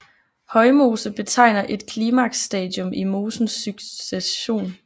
Højmose betegner et klimaksstadium i mosens succession